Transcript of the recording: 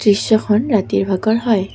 দৃশ্যখন ৰাতিৰ ভাগৰ হয়।